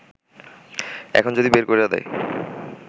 এখন যদি বের কইরা দেয়